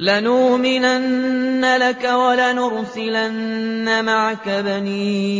لَنُؤْمِنَنَّ لَكَ وَلَنُرْسِلَنَّ مَعَكَ بَنِي